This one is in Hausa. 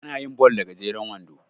ana yin ball da gajeren wando